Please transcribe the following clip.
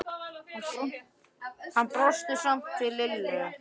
En hann brosti samt til Lillu.